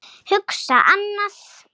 Hugsa annað.